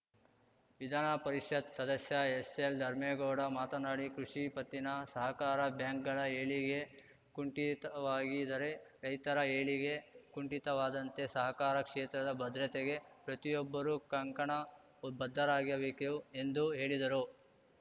ವಿಧಾನಪರಿಷತ್‌ ಸದಸ್ಯ ಎಸ್‌ಎಲ್‌ಧರ್ಮೇಗೌಡ ಮಾತನಾಡಿ ಕೃಷಿ ಪತ್ತಿನ ಸಹಕಾರ ಬ್ಯಾಂಕ್‌ಗಳ ಏಳಿಗೆ ಕುಂಠಿತವಾಗಿದರೆ ರೈತರ ಏಳಿಗೆ ಕುಂಠಿತವಾದಂತೆ ಸಹಕಾರ ಕ್ಷೇತ್ರದ ಭದ್ರತೆಗೆ ಪ್ರತಿಯೊಬ್ಬರೂ ಕಂಕಣ ಬದ್ಧರಾಗಿರಬೇಕು ಎಂದು ಹೇಳಿದರು